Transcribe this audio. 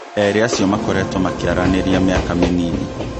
Erĩ acio makoretwo makĩaranĩria mĩaka mĩnini